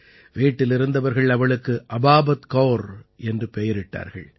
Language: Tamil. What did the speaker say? வீட்டிலிருந்தவர்கள் அவளுக்கு அபாபத் கௌர் என்று பெயரிட்டார்கள்